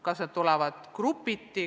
Kas need tulevad grupiti?